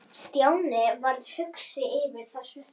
Stjáni varð hugsi yfir þessu.